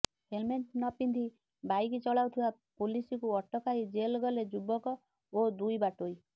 helmet ନ ପିନ୍ଧି bike ଚଳାଉଥିବା ପୁଲିସକୁ ଅଟକାଇ ଜେଲ୍ ଗଲେ ଯୁବକ ଓ ଦୁଇ ବାଟୋଇ